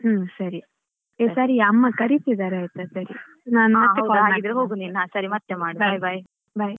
ಏ ಸರಿ ಅಮ್ಮ ಕರೀತಿದ್ದರೆ ಆಯ್ತಾ ಸರಿ ನಾನ್ ಮತ್ತೆ call ಮಾಡ್ತೇನೆ.